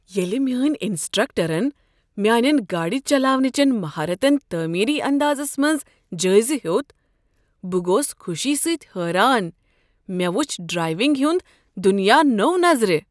ییٚلہ میٛٲنۍ انسٹرکٹرن میٛانٮ۪ن گاڑِ چلاونہٕ چن مہارتن تعمیری اندازس منٛز جٲیزٕ ہیوٚت، بہٕ گوس خوشی سۭتۍ حٲران۔ مےٚ وُچھ ڈرایونٛگ ہٕنٛد دنیا نوِ نظرِ۔